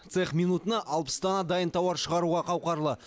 цех минутына алпыс дана дайын тауар шығаруға қауқарлы